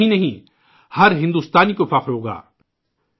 اتنا ہی نہیں ، ہر بھارتی کو فخر ہو گا